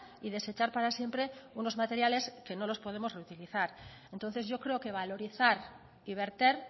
y desechar para siempre unos materiales que no los podemos reutilizar entonces yo creo que valorizar y verter